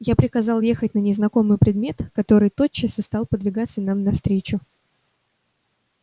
я приказал ехать на незнакомый предмет который тотчас и стал подвигаться нам навстречу